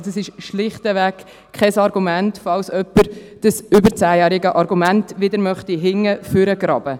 Also: Dies ist schlichtweg kein Argument, falls jemand dieses über 10-jährige Argument wieder hervorholen möchte.